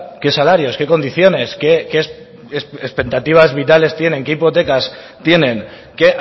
qué salarios qué condiciones qué expectativas vitales tienen qué hipotecas tienen qué